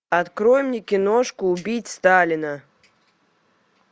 открой мне киношку убить сталина